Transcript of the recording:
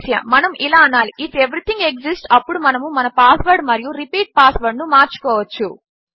మనము ఇలా అనాలి ఐఎఫ్ ఎవరీథింగ్ ఎక్సిస్ట్స్ అప్పుడు మనము మన పాస్వర్డ్ మరియు రిపీట్ పాస్వర్డ్ ను మార్చుకోవచ్చు